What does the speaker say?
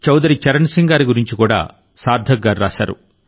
చౌదరి చరణ్ సింగ్ గారి గురించి కూడా సార్థక్ గారు రాశారు